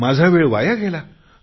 माझा वेळ वाया गेला